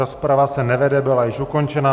Rozprava se nevede, byla již ukončena.